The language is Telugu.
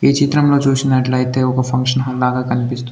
ఈ చిత్రంలో చూసినట్లయితే ఒక ఫంక్షన్ హాల్ లాగా కనిపిస్తుంది.